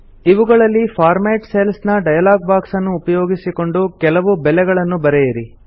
ಇವುಗಳಲ್ಲಿ format cells ನ dialogue box ಅನ್ನು ಉಪಯೋಗಿಸಿಕೊಂಡು ಕೆಲವು ಬೆಲೆಗಳನ್ನು ಬರೆಯಿರಿ